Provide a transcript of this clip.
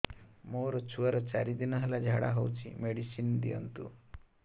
ମୋର ଛୁଆର ଚାରି ଦିନ ହେଲା ଝାଡା ହଉଚି ମେଡିସିନ ଦିଅନ୍ତୁ